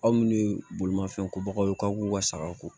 Aw munnu ye bolimafɛn kobagaw ye k'aw k'u ka sagaw ko